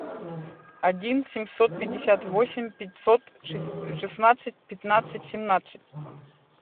один семьсот пятьдесят восемь пятьсот шестнадцать пятнадцать семнадцать